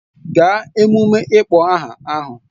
Gaa emume ịkpọ aha ahụ!